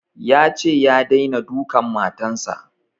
Yace ya daina dukan matan sa